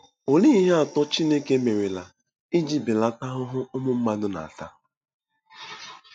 Olee ihe atọ Chineke merela iji belata ahụhụ ụmụ mmadụ na-ata?